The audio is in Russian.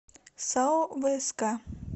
сао вск